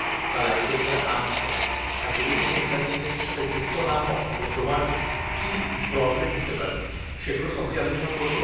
সেগুলো সবই আলোচনা করব